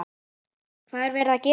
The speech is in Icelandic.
Hvað er verið að gera?